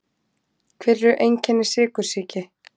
Hver eru einkenni sykursýki?